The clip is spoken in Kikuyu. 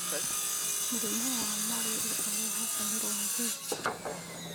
Mũrimũ wa Marĩria ũrehagwo nĩ rwagĩ